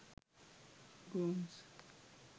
gomes